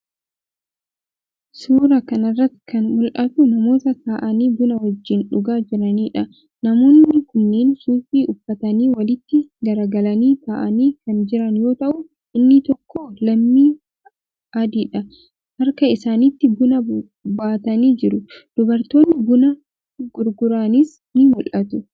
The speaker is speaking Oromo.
Suuraa kana irratti kan mul'atu namoota taa'anii buna wajjin dhugaa jiraniidha. Namoonni kunneen suufii uffatanii walitti garagalanii taa'anii kan jiran yoo ta'u, inni tokko lammii adiidha. Harka isaaniitti buna baatanii jiru. Dubartoonni buna gurguranis ni mul'atu.